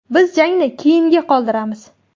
Biz jangni keyinga qoldiramiz.